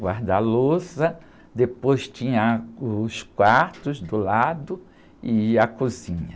guarda-louça, depois tinha os quartos do lado e a cozinha.